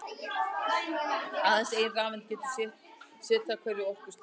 Aðeins ein rafeind getur setið á hverju orkustigi.